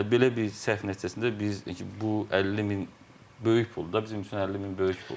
Belə bir səhv nəticəsində biz bu 50 min böyük puldur da, bizim üçün 50 min böyük puldur.